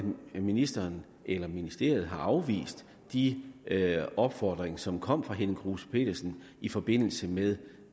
ministeren eller ministeriet har afvist de opfordringer som kom fra henning kruse petersen i forbindelse med